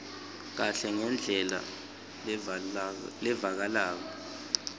kahle ngendlela levakalako